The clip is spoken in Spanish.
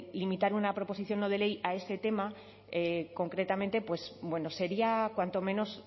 limitar una proposición no de ley a ese tema concretamente pues bueno sería cuanto menos